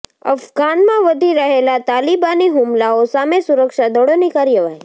અફઘાનમાં વધી રહેલા તાલિબાની હુમલાઓ સામે સુરક્ષા દળોની કાર્યવાહી